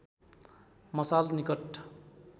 मसाल निकट